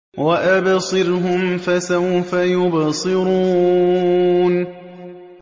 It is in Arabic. وَأَبْصِرْهُمْ فَسَوْفَ يُبْصِرُونَ